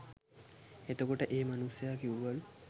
එතකොට ඒ මනුස්සය කිව්වලු